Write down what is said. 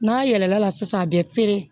N'a yɛlɛl'a la sisan a bɛ feere